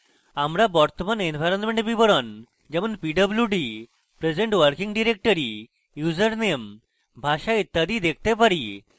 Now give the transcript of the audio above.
আমরা বর্তমান এনভায়রনমেন্ট বিবরণ যেমন pwd present working directory username ভাষা ইত্যাদি দেখতে পারি